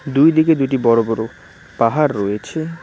দুইদিকে দুইটি বড় বড় পাহাড় রয়েছে।